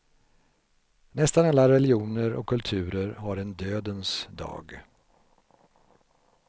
Nästan alla religioner och kulturer har en dödens dag.